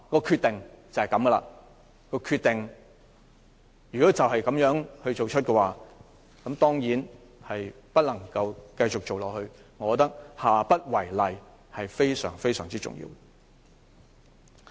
決定已經作出，當然不能繼續進行下去，但我覺得下不為例非常重要。